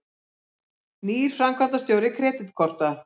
Nýr framkvæmdastjóri Kreditkorta